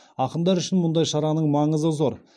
ақындар үшін мұндай шараның маңызы зор